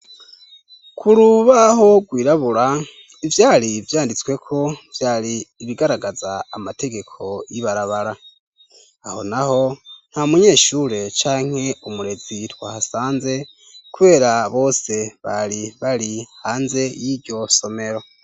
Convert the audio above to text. Ku rubaho rwirabura ivyari vyanditsweko vyari ibigaragaza amategeko y'ibarabara, aho, naho nta munyeshure canke umurezi twahasanze kubera bose bari bari hanze y'iryo somero.